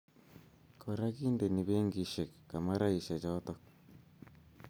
Kora kindenibenkishek kameraishek choto